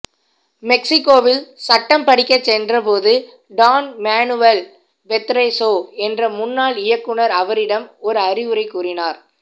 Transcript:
மெக்சிகோவில் சட்டம் படிக்கச் சென்ற போது டான் மேனுவல் பெத்ரேசோ என்ற முன்னாள் இயக்குனர் அவரிடம் ஒரு அறிவுரை கூறினார்